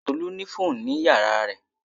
Tolu ni fóònù nínú yàrá rẹ̀